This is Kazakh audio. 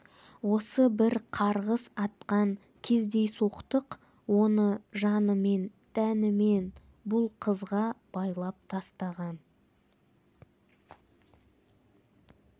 осы бір қарғыс атқан кездейсоқтық оны жанымен тәнімен бұл қызға байлап тастаған